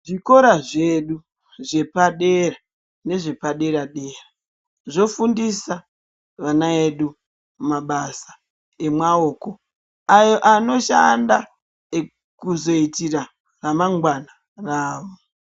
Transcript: Zvikora zvedu zvepadera, nezvepadera-dera, zvofundisa ana edu mabasa emaoko ayo anoshanda kuzoyitira ramangwana ravo.